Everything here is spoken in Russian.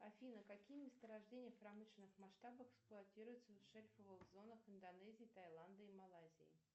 афина какие месторождения в промышленных масштабах эксплуатируются в шельфовых зонах индонезии таиланда и малайзии